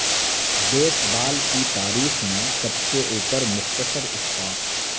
بیس بال کی تاریخ میں سب سے اوپر مختصر اسٹاپ